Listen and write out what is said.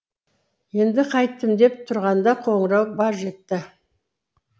енді қайттім деп тұрғанда қоңырау баж етті